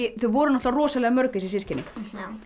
þau voru náttúrlega rosa mörg þessi systkini